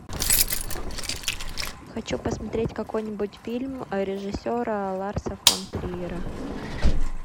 хочу посмотреть какой нибудь фильм режиссера ларса фон триера